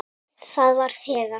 Það var þegar